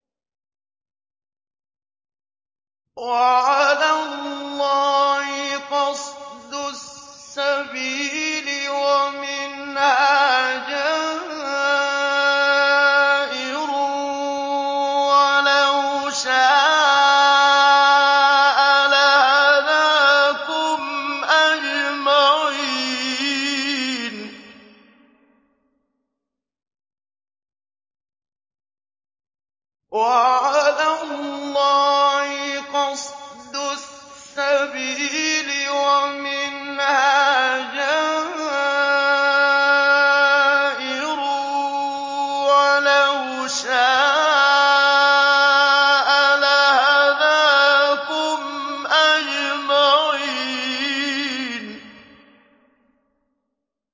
وَعَلَى اللَّهِ قَصْدُ السَّبِيلِ وَمِنْهَا جَائِرٌ ۚ وَلَوْ شَاءَ لَهَدَاكُمْ أَجْمَعِينَ